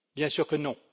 Bien sûr que non.